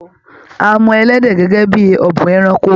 À mọ ẹlẹdẹ gẹgẹ bíi ọ̀bùn ẹranko.